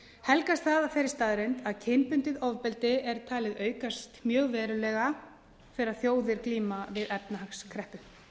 helgast það af þeirri staðreynd að kynbundið ofbeldi er talið aukast mjög verulega þegar þjóðir glíma við efnahagskreppu